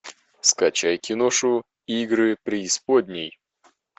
скачай киношу игры преисподней